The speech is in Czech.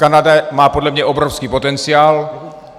Kanada má podle mě obrovský potenciál.